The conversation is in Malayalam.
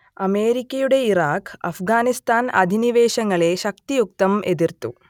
അമേരിക്കയുടെ ഇറാഖ് അഫ്ഗാനിസ്താൻ അധിനിവേശങ്ങളെ ശക്തിയുക്തം എതിർത്തു